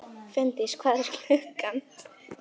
Finndís, hvað er klukkan?